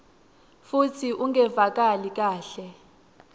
futsi ungevakali kahle